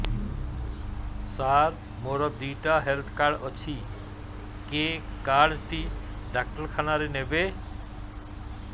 ସାର ମୋର ଦିଇଟା health card ଅଛି କେ କାର୍ଡ ଟି ଡାକ୍ତରଖାନା ରେ ନେବେ